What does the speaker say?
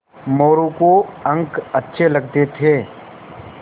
मोरू को अंक अच्छे लगते थे